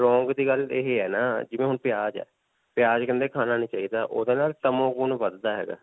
wrong ਦੀ ਗੱਲ ਇਹੇ ਹੈ ਨਾ ਜਿਵੇਂ ਹੁਣ ਪਿਆਜ ਹੈ. ਪਿਆਜ ਕਹਿੰਦੇ ਖਾਣਾ ਨਹੀਂ ਚਾਹਿਦਾ ਨਾਲ ਤਮੋ ਗੁਣ ਵਧਦਾ ਹੈਗਾ.